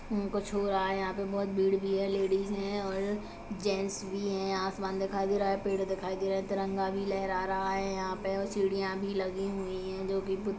हम कुछ हो रहा है यहाँ पे बोहोत भीड़ भी है लेडीज है और जेंट्स भी है आसमान दिखाई दे रहा है पेड़ दिखाई दे रहा है तिरंगा भी लहरा रहा है यहाँ पे सीढ़ियाँ भी लगी हुई है जोकि --